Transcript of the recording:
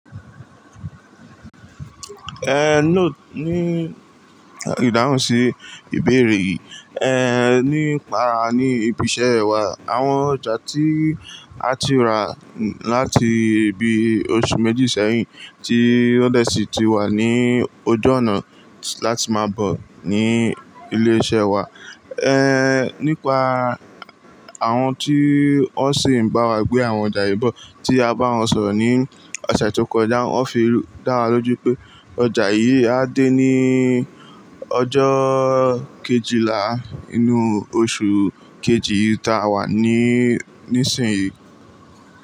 Ehn, nóò ní ìdáhùn sí ìbéèrè yìí. Ehn, nípa ní ibi iṣẹ́ wa àwọn ọjà tí a ti rà láti ibi oṣù méjì sẹ́yìn tí ó dẹ́sì ti wà ní ojú ọ̀nà láti má a bọ̀ ní ilé iṣẹ́ wa. Ehn, nípa àwọn tí ó sì ń bá wa gbé àwọn ọjà yìí bọ̀ tí a bá wọn sọ̀rọ̀ ní ọ̀sẹ̀ tó kọjá, wọ́n fi dá wa lójú pé ọjà yìí á dé ní ọjọ́ kejìlá inú oṣù kejì ta wà níì nísìnyí.